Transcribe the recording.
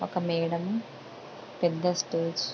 ఒక మేడం పెద్ద స్టేట్స్ --